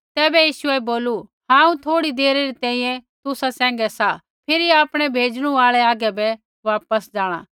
तैबै यीशुऐ बोलू हांऊँ थोड़ी देरी तैंईंयैं तुसा सैंघै सा फिरी आपणै भेजणु आल़ै हागै बै वापस जाँणा